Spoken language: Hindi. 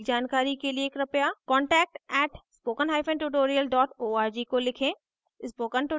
अधिक जानकारी कर लिए कृपया contact @spokentutorial org को लिखें